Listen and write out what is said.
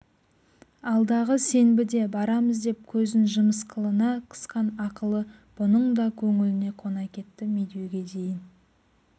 алдағы сенбіде барамыз деп көзін жымысқылана қысқан ақылы бұның да көңіліне қона кетті медеуге дейін